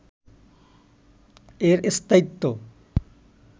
এর স্থায়িত্ব